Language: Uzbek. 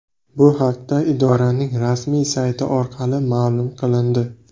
Bu haqda idoraning rasmiy sayti orqali ma’lum qilindi .